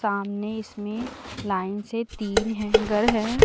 सामने इसमें लाइन से तीन हैंगर है।